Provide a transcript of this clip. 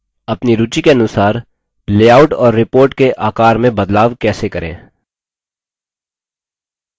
अपनी रूचि के अनुसार लेआउट और report के आकार में बदलाव कैसे करें